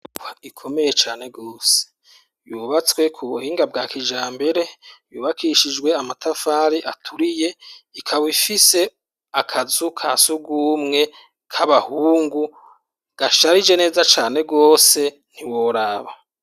inyubakwa ikomeye cane gose yubatswe ku buhinga bwa kija mbere yubakishijwe amatafari aturiye ikaba ifise akazu ka sugumwe k'abahungu gasharije neza cane gose ntiworaba.